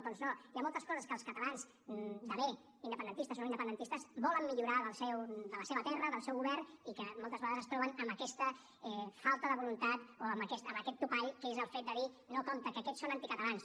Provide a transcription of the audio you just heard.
doncs no hi ha moltes coses que els catalans de bé independentistes o no independentistes volen millorar de la seva terra del seu govern i que moltes vegades es troben amb aquesta falta de voluntat o amb aquest topall que és el fet de dir no compte que aquests són anticatalans